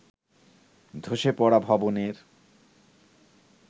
ধসে পড়া ভবনের